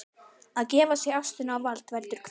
Að gefa sig ástinni á vald veldur kvíða.